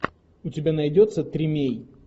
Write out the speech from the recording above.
у тебя найдется тримей